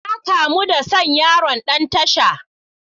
Na kamu da son yaron Dan tasha.